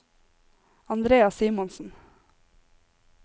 Andrea Simonsen